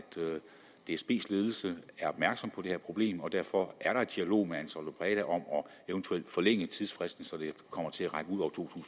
dsbs ledelse er opmærksom på det her problem og derfor er der en dialog med ansaldobreda om eventuelt at forlænge tidsfristen så den kommer til at række ud over to